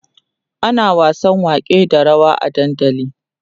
ana wasan wake da rawa a dandali